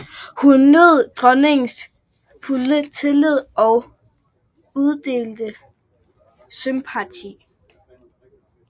Hun nød dronningens fulde tillid og udelte sympati